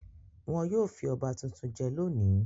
Wọn yóò fi ọba tuntun jẹ lónìí.